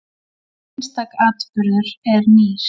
Hver einstakur atburður er nýr.